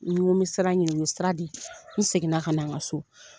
N go n bi sira ɲini, u ye sira di n seginna ka na n ka so.